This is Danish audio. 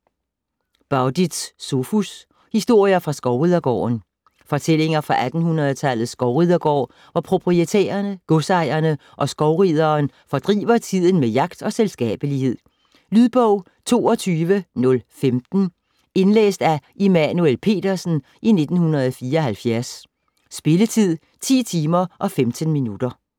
Bauditz, Sophus: Historier fra skovridergården Fortællinger fra 1800-tallets skovridergård, hvor proprietærerne, godsejerne og skovrideren fordriver tiden med jagt og selskabelighed. Lydbog 22015 Indlæst af Immanuel Petersen, 1974. Spilletid: 10 timer, 15 minutter.